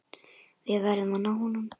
Við verðum að ná honum.